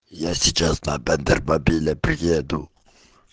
я сейчас опять бербабиле приеду